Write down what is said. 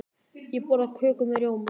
Ég borða köku með rjóma.